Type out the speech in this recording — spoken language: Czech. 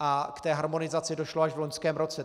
a k té harmonizaci došlo až v loňském roce.